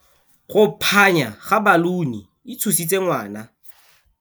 Go phanya ga baluni e tshositse ngwana.